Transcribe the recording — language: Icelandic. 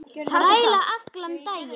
Þræla allan daginn!